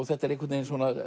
þetta er